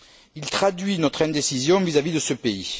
Il traduit notre indécision vis à vis de ce pays.